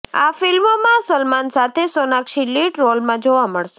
આ ફિલ્મમાં સલમાન સાથે સોનાક્ષી લીડ રોલમાં જોવા મળશે